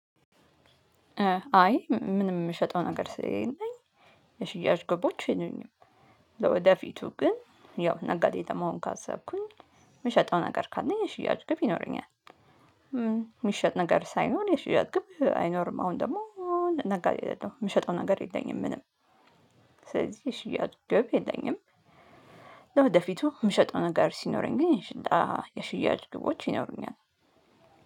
አይ ምንም የምሸጠው ነገር ስለሌለኝ የሽያጭ ግቦች የሉኝም። ለወደፊቱ ግን ያው ነጋዴን መሆን ካሰብኩኝ። የምሸጠው ነገር ካለኝ ነሽያጭ ግብ ይኖረኛል የሚሸጥ ነገር ሳይኖር የሽያጭ ግብ አይኖርም። አሁን ደግሞ ነጋዴ አይደለሁም የምሸጠው ነገር የለኝም። ምንም ስለዚህ የሽያጭ ግብ የለኝም። ለወደፊቱ የምሸጠው ነገር ሲኖረኝ ግን የሽያጭ ግቦች ይኖሩኛል